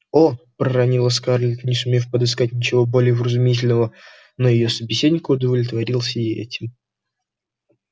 о проронила скарлетт не сумев подыскать ничего более вразумительного но её собеседник удовлетворился и этим